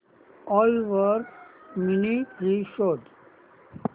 ओला वर mini fridge शोध